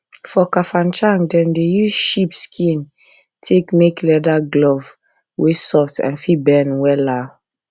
for kafanchan dem dey use sheep skin take make leather glove wey soft and fit bend wella